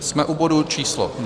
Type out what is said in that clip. Jsme u bodu číslo